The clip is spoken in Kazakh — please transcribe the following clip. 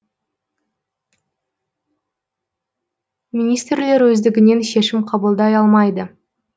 министрлер өздігінен шешім қабылдай алмайды